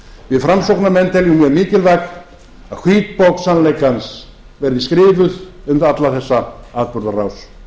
við framsóknarmenn teljum mjög mikilvægt að hvítbók sannleikans verði skrifuð um alla þessa atburðarás